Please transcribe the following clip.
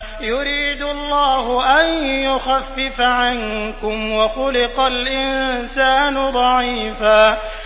يُرِيدُ اللَّهُ أَن يُخَفِّفَ عَنكُمْ ۚ وَخُلِقَ الْإِنسَانُ ضَعِيفًا